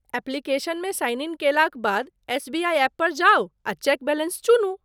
एप्लिकेशनमे sign in कयलाक बाद SBI app पर जाउ आ चेक बैलेंस चुनू।